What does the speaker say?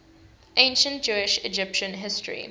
ancient jewish egyptian history